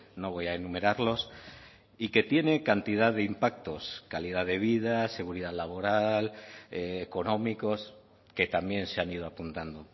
no voy a enumerarlos y que tiene cantidad de impactos calidad de vida seguridad laboral económicos que también se han ido apuntando